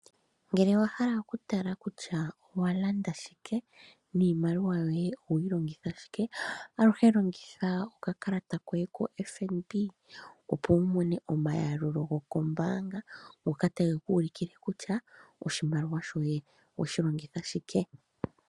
Ngele hala okutala kutya owa landa shike niimaliwa yoye oya owe yi longitha shike aluhe longitha okakalata koye koFNB opo wu mone omayalulo goye gombaanga ngoka tage ku ulukile kutya oshimaliwa shoye owe shi longitha shike.